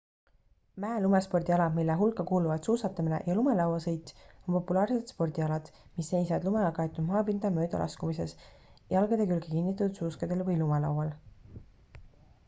mäe-lumespordialad mille hulka kuuluvad suusatamine ja lumelauasõit on populaarsed spordialad mis seisnevad lumega kaetud maapinda mööda laskumises jalgade külge kinnitatud suuskadel või lumelaual